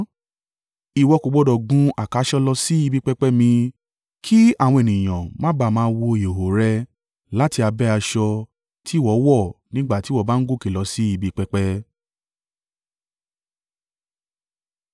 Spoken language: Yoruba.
Ìwọ kò gbọdọ̀ gun àkàsọ̀ lọ sí ibi pẹpẹ mi, kí àwọn ènìyàn má ba à máa wo ìhòhò rẹ láti abẹ́ aṣọ tí ìwọ wọ̀ nígbà tí ìwọ bá ń gòkè lọ sí ibi pẹpẹ.’